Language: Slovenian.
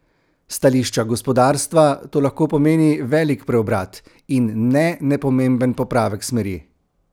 S stališča gospodarstva to lahko pomeni velik preobrat, in ne nepomemben popravek smeri.